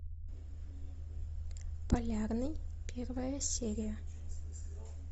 полярный первая серия